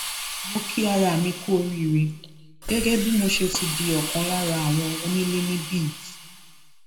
mo kí ara mi kú oríire gẹgẹ bí mo ṣe ti di ọkan lára àwọn onílé níbí yìí